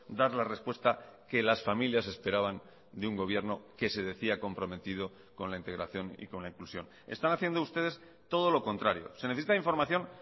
dar la respuesta que las familias esperaban de un gobierno que se decía comprometido con la integración y con la inclusión están haciendo ustedes todo lo contrario se necesita información